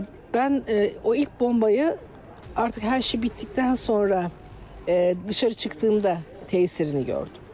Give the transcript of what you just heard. Mən o ilk bombayı artıq hər şey bitdikdən sonra eee, dışarı çıxdığımda təsirini gördüm.